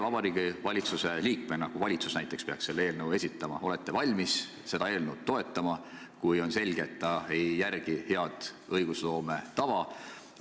Kui valitsus peaks selle eelnõu esitama, kas te olete valmis seda valitsusliikmena toetama, kuigi on selge, et pole järgitud head õiguloome tava?